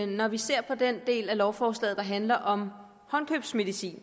når vi ser på den del af lovforslaget der handler om håndkøbsmedicin